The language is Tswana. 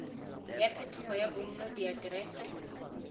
ya phetogo ya bonno diaterese